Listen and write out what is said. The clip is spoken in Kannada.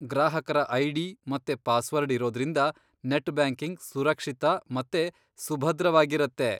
ಗ್ರಾಹಕರ ಐ.ಡಿ. ಮತ್ತೆ ಪಾಸ್ವರ್ಡ್ ಇರೋದ್ರಿಂದ ನೆಟ್ ಬ್ಯಾಂಕಿಂಗ್ ಸುರಕ್ಷಿತ ಮತ್ತೆ ಸುಭದ್ರವಾಗಿರತ್ತೆ.